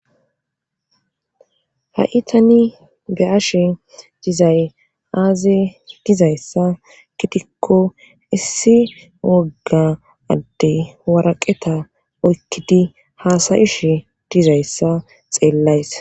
ha7i tani be ashe dizay aaze dizayssa gitikko issi wogga adde waraqeta oykkidi haasayish dizayssa xeellays